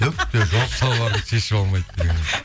түк те жоқ шалбарын шешіп алмайды деген